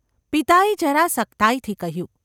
’ પિતાએ જરા સખ્તાઈથી કહ્યું.